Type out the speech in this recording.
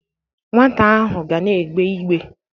Nwata ahụ ga na-egbe igbe.